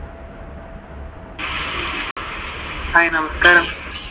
Hi, നമസ്കാരം.